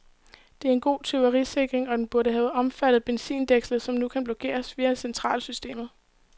Det er en god tyverisikring, og den burde have omfattet benzindækslet, som nu kun blokeres via centrallåssystemet.